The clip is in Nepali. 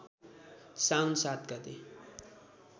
साउन ७ गते